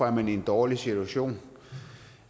er man i en dårlig situation